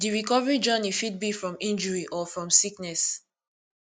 di recovery journey fit be from injury or from sickness